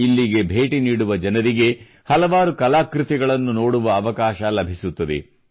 ಇಲ್ಲಿಗೆ ಭೇಟಿ ನೀಡುವ ಜನರಿಗೆ ಹಲವಾರು ಕಲಾಕೃತಿಗಳನ್ನು ನೋಡುವ ಅವಕಾಶ ಲಭಿಸುತ್ತದೆ